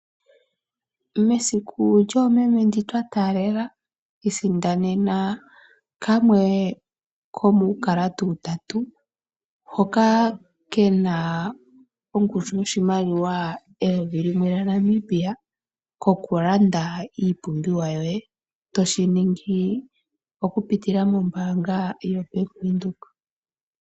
Mesiku lyoomeme ndi twa taalela isindanena kamwe komuukalata utatu, hoka ke na ongushu yoshimaliwa shoodola eyovi limwe lyaNamibia (N$ 1000) ko ku landa iipumbiwa yoye, toshi ningi okupitila mobaanga yoBank Windhoek.